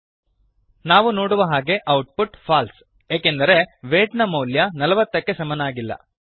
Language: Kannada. ಸೇವ್ ಮತ್ತು ರನ್ ಮಾಡಿ ನಾವು ನೋಡುವ ಹಾಗೆ ಔಟ್ ಪುಟ್ ಫಾಲ್ಸೆ ಏಕೆಂದರೆ ವೈಟ್ ನ ಮೌಲ್ಯ ೪೦ ಕ್ಕೆ ಸಮನಾಗಿಲ್ಲ